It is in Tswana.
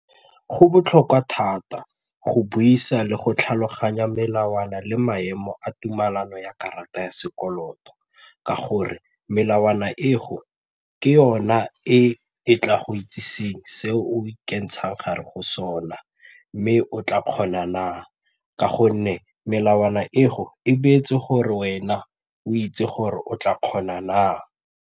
Go botlhokwa thata go buisa le go tlhaloganya melawana le maemo a tumelano ya karata ya sekoloto ka gore melawana e go ke yona e e tla go itseseng se o ikentshang gare go sona mme o tla kgona na, ka gonne melawana e go e beetse gore wena o itse gore o tla kgona na?